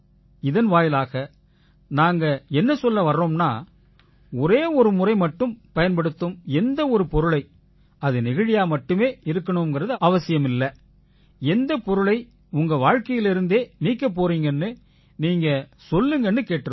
இதன் வாயிலா நாங்க என்ன சொல்ல வர்றோம்னா ஒரே ஒரு முறை மட்டுமே பயன்படுத்தும் எந்த ஒரு பொருளை அது நெகிழியா மட்டுமே இருக்கணும்னு அவசியமில்லை எந்தப் பொருளை உங்க வாழ்க்கையிலேர்ந்தே நீக்கப் போறீங்கன்னு நீங்க சொல்லுங்கன்னு கேட்டிருக்கோம்